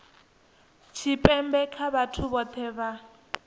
tshipembe nga vhathu vhohe vha